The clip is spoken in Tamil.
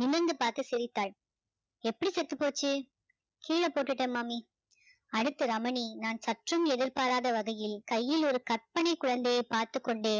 நிமிர்ந்து பார்த்து சிரித்தாள் எப்படி செத்து போச்சு கீழ போட்டுட்டேன் மாமி அடுத்து ரமணி நான் சற்றும் எதிர்பாராத வகையில் கையில் ஒரு கற்பனை குழந்தையை பார்த்துக்கொண்டு